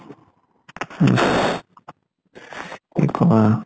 কি কবা।